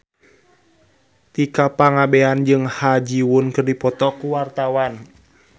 Tika Pangabean jeung Ha Ji Won keur dipoto ku wartawan